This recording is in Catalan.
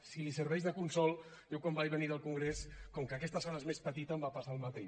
si li serveix de consol jo quan vaig venir del congrés com que aquesta sala és més petita em va passar el mateix